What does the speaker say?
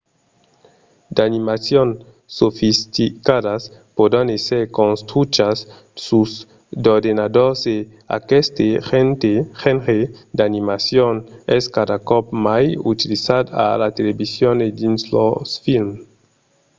d'animacions sofisticadas pòdon èsser construchas sus d'ordenadors e aqueste genre d'animacion es cada còp mai utilizat a la television e dins los films